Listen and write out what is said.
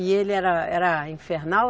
E ele era, era infernal?